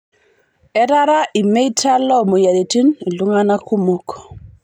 Etara lmeita loo moyiariti ltunga'ana kumok